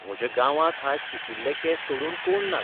म्हज्या गांवांत आज पिकिल्ले केंस सोडून कोण नात.